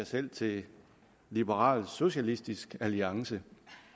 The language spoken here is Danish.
selv til liberalsocialistisk alliance